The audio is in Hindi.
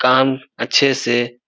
काम अच्छे से--